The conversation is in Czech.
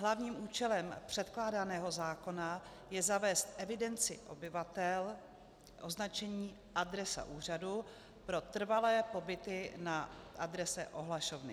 Hlavním účelem předkládaného zákona je zavést v evidenci obyvatel označení adresa úřadu pro trvalé pobyty na adrese ohlašovny.